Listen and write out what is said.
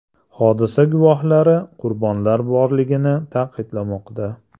Hodisa guvohlari qurbonlar borligini ta’kidlamoqda.